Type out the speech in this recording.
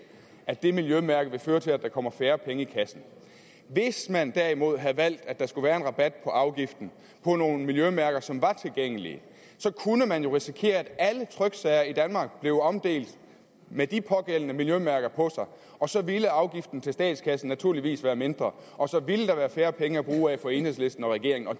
at det miljømærke vil føre til at der kommer færre penge i kassen hvis man derimod havde valgt at der skulle være en rabat på afgiften på nogle miljømærker som var tilgængelige så kunne man jo risikere at alle tryksager i danmark blev omdelt med de pågældende miljømærker på sig og så ville afgiften til statskassen naturligvis være mindre og så vil der være færre penge at bruge af for enhedslisten og regeringen og